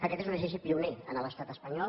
aquest és un exercici pioner en l’estat espanyol